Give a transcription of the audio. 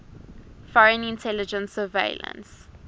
foreign intelligence surveillance